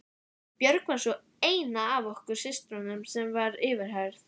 Björg var sú eina af okkur systrum sem var yfirheyrð.